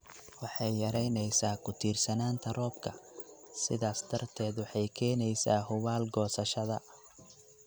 Waxay yaraynaysaa ku tiirsanaanta roobka, sidaas darteed waxay keenaysaa hubaal goosashada.